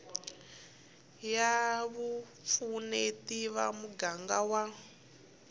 ya vupfuneti va muganga wa